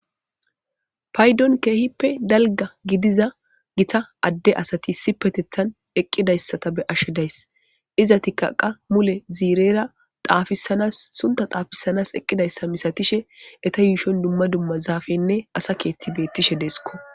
Paydon kehipe dalga gidiza gita ade asati issipetetan eqidaysata be'ashe days izatika qa mule zirera dhafisanas suntha dhafisanas eqidaysa misatishe eta yushon duma duma zafenne asa kethi betishe deskko.